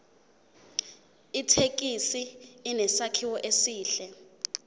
ithekisi inesakhiwo esihle